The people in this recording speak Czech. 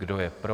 Kdo je pro?